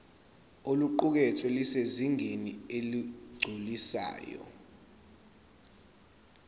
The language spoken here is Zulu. oluqukethwe lusezingeni eligculisayo